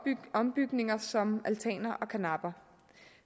ombygninger som altaner og karnapper